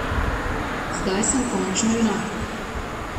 Zdaj sem končno junak.